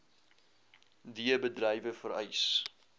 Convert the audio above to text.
d bedrywe vereis